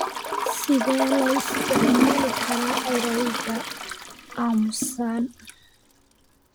Sidee loo isticmaali karaa erayga aamusan?